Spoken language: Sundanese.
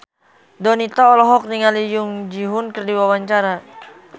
Donita olohok ningali Jung Ji Hoon keur diwawancara